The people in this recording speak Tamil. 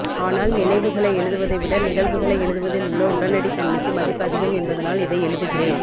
ஆனால் நினைவுகளை எழுதுவதை விட நிகழ்வுகளை எழுதுவதில் உள்ள உடனடித்தன்மைக்கு மதிப்பு அதிகம் என்பதனால் இதை எழுதுகிறேன்